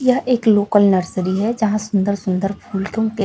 यह एक local nursery है यहां सुंदर सुंदर फूल क्यों कि--